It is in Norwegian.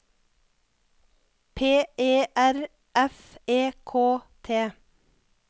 P E R F E K T